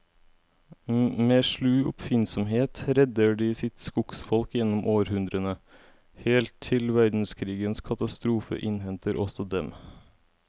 Med slu oppfinnsomhet redder de sitt skogsfolk gjennom århundrene, helt til verdenskrigens katastrofe innhenter også dem.